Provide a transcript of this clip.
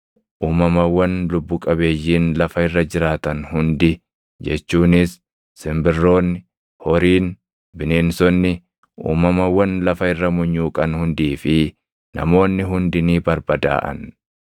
Uumamawwan lubbu qabeeyyiin lafa irra jiraatan hundi jechuunis, simbirroonni, horiin, bineensonni, uumamawwan lafa irra munyuuqan hundii fi namoonni hundi ni barbadaaʼan.